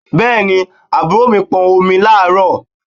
Bẹ́ẹ̀ni, àbúrò mi pọn omi láàárọ̀?